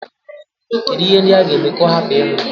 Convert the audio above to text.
Kedụ ihe ndị a ga-eme ka ọ hapụ ịnwụ?